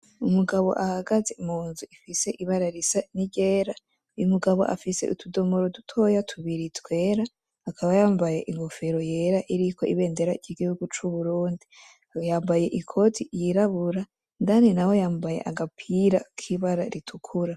Umugabo ahagaze munzu ifise ibara risa niryera Umugabo afise utudomoro dutoya twera akaba yambaye inkofero yera iriko ibendera ry,igihugu c,Uburundi yambaye ikote ry,irabura indani naho yambaye agapira kibara ritukura.